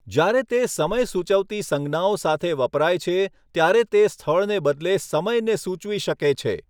જ્યારે તે સમય સૂચવતી સંજ્ઞાઓ સાથે વપરાય છે ત્યારે તે સ્થળને બદલે સમયને સૂચવી શકે છે.